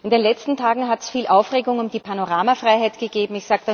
In den letzten Tagen hat es viel Aufregung um die Panoramafreiheit gegeben.